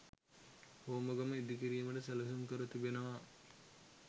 හෝමාගම ඉදිකිරීමට සැලසුම් කර තිබෙනවා.